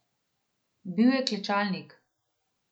Bil je klečalnik.